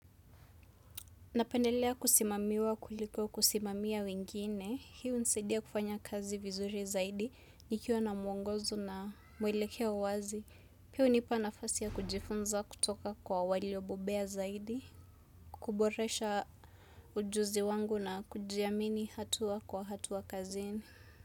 Napendelea kusimamiwa kuliko kusimamia wengine. Hiu hunisaidia kufanya kazi vizuri zaidi nikiwa na mwongozo na mwelekeo wazi. Hii hunipa nafasi ya kujifunza kutoka kwa waliobobea zaidi. Kuboresha ujuzi wangu na kujiamini hatua kwa hatua kazini.